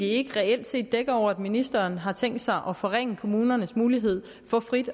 ikke reelt set dækker over at ministeren har tænkt sig at forringe kommunernes mulighed for frit